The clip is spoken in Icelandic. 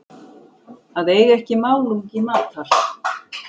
Að eiga ekki málungi matar